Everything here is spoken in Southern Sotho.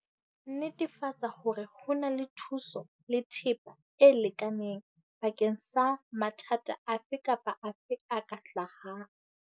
Netefatsa hore ho na le thuso le thepa e lekaneng bakeng sa mathata afe kapa afe a ka hlahang.